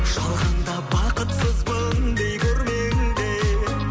жалғанда бақытсызбын дей көрмеңдер